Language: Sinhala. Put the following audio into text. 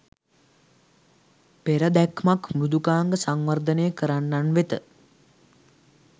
"පෙර දැක්මක්" මෘදුකාංග සංවර්ධනය කරන්නන් වෙත